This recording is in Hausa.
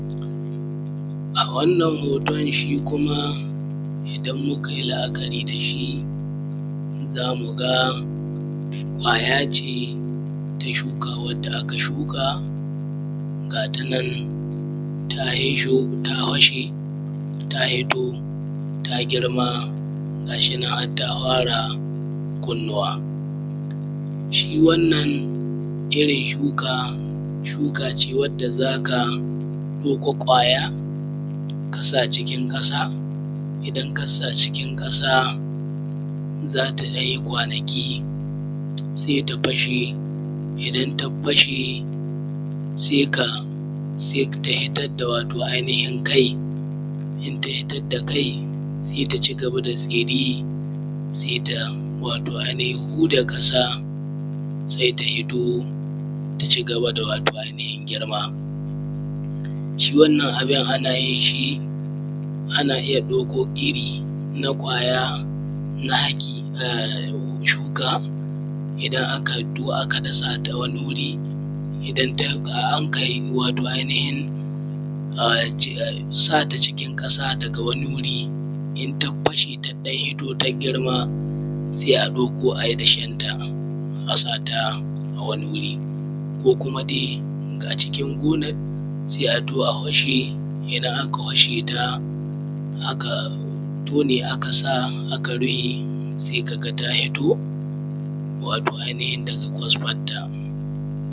A wannan hoton shin kuma idan Makai la’akari da shi zamuga kwayace ta shuka wadda aka shuka gata nan ta hito ta fashe ta girma ga shinan harta hara kunnuwa. Shi wannan irrin shuka, shuka ce wadda zaka ɗauka kwaya kasa cikin ƙasa idan kasa cikin ƙasa zata ɗanyi kwanaki sai ta fashe idan ta fashe sai ka fidar da wato ai hinin kai inta hitadda kai sai ta cigaba da tsini sai ta wato ai nihin huda ƙasa sai ta hito ta cigaba da wato ai nihin girma. Shi wannan abun anyin shi ana iyya wato ɗauko irri na kwaya na haki a shuka idan aka hito aka dasata wani guri, aka sata ai nihin cikin ƙasa daga wani wuri inta fashe taɗan hitto ta girma sai a ɗauko ayi dashen ta a sata a wani wuri ko kuma dai acikin gonan sai a du a fashe idan aka fasheta aka tone aka rufe sai kaga wato yanayin yadda kwasfanta.